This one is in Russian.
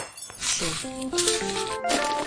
че